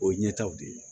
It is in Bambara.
O ye ɲɛtaw de ye